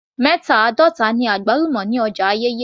Mẹta àádọta náírà ni àgbálùmọ́ ní ọjà Ayẹ́yẹ́